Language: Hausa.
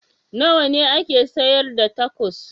Nawa ne ake sayar da tacos?